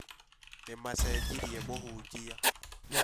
Nĩ macenjĩrĩe mũhunjia